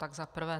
Tak za prvé.